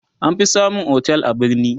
an fi samun otel a birni